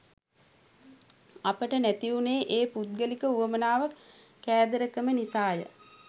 අපට නැති වුණේ ඒ පුද්ගලික උවමනාව කෑදරකම නිසාය.